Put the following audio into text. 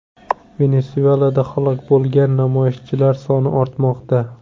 Venesuelada halok bo‘lgan namoyishchilar soni ortmoqda.